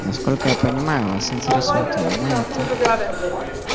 насколько я понимаю вас интересует именно это